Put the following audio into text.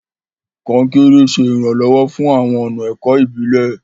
Konkere ṣe iranlọwọ fún awọn ọna ẹkọ ibilẹ.